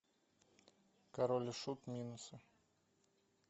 король и шут минусы